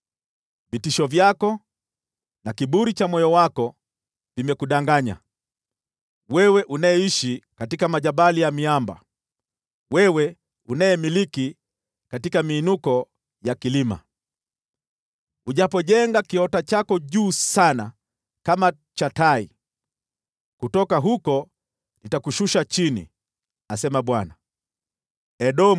Vitisho vyako na kiburi cha moyo wako vimekudanganya, wewe unayeishi katika majabali ya miamba, wewe unayedumu katika miinuko ya kilima. Ujapojenga kiota chako juu sana kama cha tai, nitakushusha chini kutoka huko,” asema Bwana .